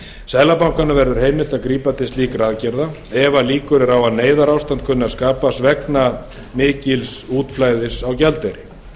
seðlabankanum verður heimilt að grípa til slíkra aðgerða ef líkur eru á að neyðarástand kunni að skapast vegna mikils útflæðis á gjaldeyri